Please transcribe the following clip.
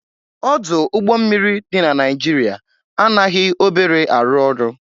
Ọdụ ụgbọ mmiri dị na Naịjirịa anaghị obere arụ ọrụ